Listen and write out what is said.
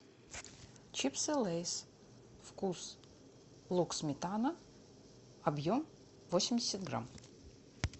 чипсы лейс вкус лук сметана объем восемьдесят грамм